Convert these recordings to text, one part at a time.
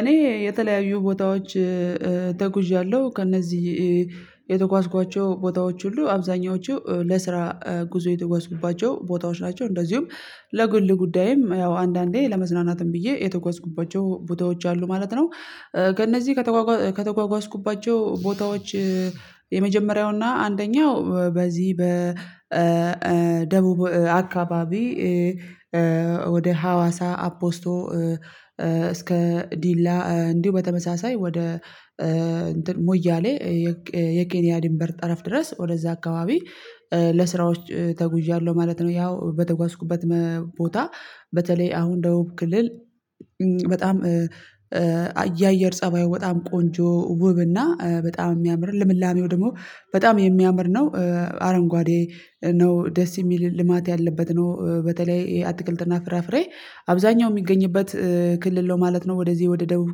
እኔ የተለያዩ ቦታዎች ተጉዣለሁ ከእነዚህ የተጓዝኳቸው ቦታዎች ሁሉ አብዛኛዎቹ ለስራ ጉዞ የተጓዝኩባቸው ቦታዎች ናቸው እንደዚሁም ለግል ጉዳይም ያው አንዳንዴ ለመዝናናትም ብዬ የተጓዝኩባቸው ቦታዎች አሉ ማለት ነው። ከእነዚህ ከተጓጓዝ ከተጓጓዝኩባቸው ቦታዎች የመጀመሪያው አንደኛው በዚህ በደቡብ አካባቢ ወደ ሀዋሳ አፖስቶ እስከ ዲላ እንዲሁ በተመሳሳይ ወደ እንትን ሙያሌ የኬ የኬኒያ ድንበር ጠረፍ ድረስ ወደዛ አካባቢ ለስራዎች ተጉዣለሁ ማለት ነው። ያው በተጓዝኩበት መ ቦታ በተለይ አሁን ደቡብ ክልል በጣም የአየር ፀባዩ በጣም ቆንጆ ውብና በጣም የሚያምር ለምላሜው ደግሞ በጣም የሚያምር ነው። አረንጓዴ ነው ደስ የሚልም ልማት ያለበት ነው በተለይ ይሄ አትክልትና ፍራፍሬ አብዛኛው የሚገኝበት ክልል ነው ማለት ነው። ወደዚህ ወደ ደቡብ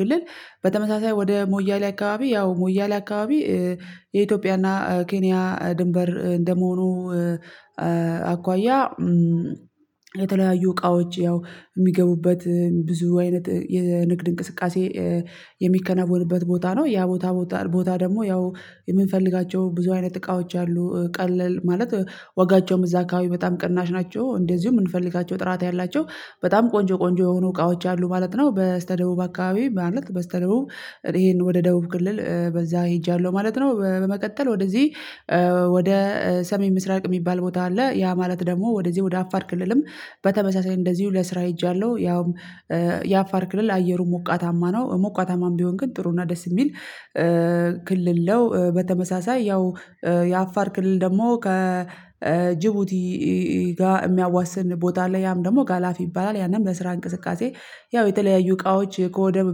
ክልል በተመሳሳይ ወደ ሞያሌ አካባቢ ያው ሞያሌ አካባቢ የኢትዮጵያና ኬንያ ድንበር እንደመሆኑ አኳያ የተለያዩ እቃዎች ያው የሚገቡበት ብዙ አይነት የንግድ እንቅስቃሴ የሚከናወንበት ቦታ ነው ያ ቦታ ቦታ ደግሞ ያው የምንፈልጋቸው ብዙ አይነት እቃዎች አሉ ቀለል ማለት ዋጋቸውም እዛ አካባቢ በጣም ቅናሽ ናቸው እንደዚሁ የምንፈልጋቸው ጥራት ያላቸው በጣም ቆንጆ ቆንጆ የሆኑ እቃዎች አሉ ማለት ነው። በስተደቡብ አካባቢ ማለት በስተደቡብ ይሄንን ወደ ደቡብ ክልል በዛ ሄጃለሁ ማለት ነው። በ በመቀጠል ወደዚህ ወደ ሰሜን ምስራቅ የሚባል ቦታ አለ ያ ማለት ደግሞ ወደዚህ ወደ አፋር ክልልም በተመሳሳይ እንደዚሁ ለስራ ሄጃለሁ ያውም የአፋር ክልል አየሩ ሞቃታማ ነው ሞቃታማም ቢሆን ግን ጥሩና ደስ የሚል ክልል ነው። በተመሳሳይ ያው የአፋር ክልል ደግሞ ከጅቡቲ ጋር የሚያዋስን ቦታ አለው ያም ደግሞ ጋላፊ ይባላል ያንን በስራ እንቅስቃሴ ያው የተለያዩ እቃዎች ከወደብ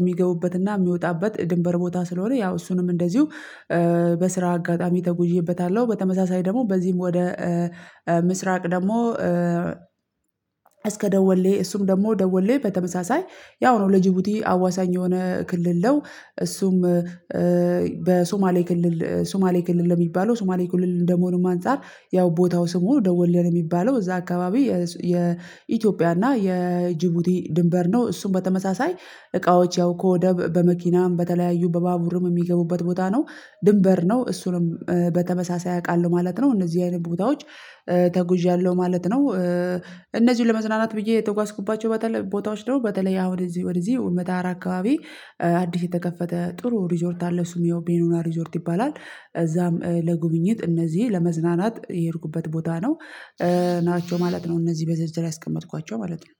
የሚገቡበትና የሚወጣበት የድንበር ቦታ ስለሆነ ያው እሱንም እንደዚሁ በስራ አጋጣሚ ተጉዤበታለሁ። በተመሳሳይ ደግሞ በዚህም ወደ ምስራቅ ደግሞ እስከ ደወሌ እሱም ደግሞ ደወሌ በተመሳሳይ ያው ነው ለጅቡቲ አዋሳኝ የሆነ ክልል ነው። እሱም በሶማሌ ክልል ሶማሌ ክልል በሚባለው ሱማሌ ክልል እንደመሆኑም አንፃር ያው ቦታው ስም ሆኖ ደወለ ነው የሚባለው እዛ አካባቢ የስ የ ኢትዮጵያና የጅቡቲ ድንበር ነው እሱን በተመሳሳይ እቃዎች ያው ወደብ በመኪናም በተለያዩ በባቡርም የሚገቡበት ቦታ ነው ድንበር ነው እሱንም በተመሳሳይ አቃለሁ ማለት ነው። እነዚህ አይነት ቦታዎች ተጉዣለሁ ማለት ነው። እነዚህን ለመዝናናት ብዬ የተጓዝኩባቸው በተለይ ቦታዎች ነው በተለይ ያው እንደዚህ ወደዚህ ወደዚህ ወደዚህ ለገሀር አካባቢ አዲስ የተከፈተ ጥሩ ሪዞርት አለ እሱም ያው ቤኑና ሪዞርት ይባላል እዛም ለጉብኝት እነዚህ ለመዝናናት የሄድኩበት ቦታ ነው ናቸው ማለት ነው። እነዚህ በዝርዝር ያስቀመጥኳቸው ማለት ነው